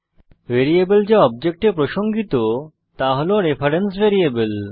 variable যা অবজেক্টে প্রসঙ্গিত তা হল রেফারেন্স ভ্যারিয়েবল